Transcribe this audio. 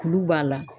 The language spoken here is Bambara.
Kulu b'a la